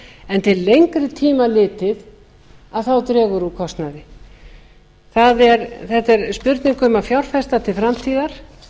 en til lengri tíma litið dregur úr kostnaði þetta er spurning um að fjárfesta til framtíðar